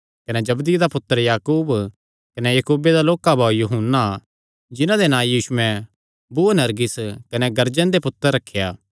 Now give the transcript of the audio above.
कने जबदिये दा पुत्तर याकूब कने याकूबे दा लोक्का भाऊ यूहन्ना जिन्हां दे नां यीशुयैं बुअनरगिस कने गर्जन दे पुत्तर रखेया